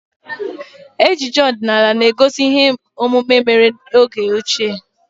Ejije ọdinala na-egosi ihe omume mere eme n'oge ochie